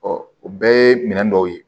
o bɛɛ ye minɛn dɔw ye